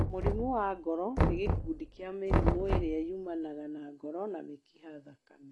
Mũrimũ wa Ngoro nĩ gĩkundi kĩa mĩrimũ ĩrĩa yumanaga na ngoro na mĩkiha thakame.